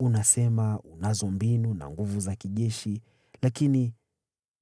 Unasema mnayo mikakati na nguvu za kijeshi, lakini